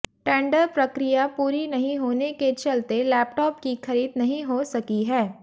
tender प्रक्रिया पूरी नहीं होने के चलते लैपटॉप की खरीद नहीं हो सकी है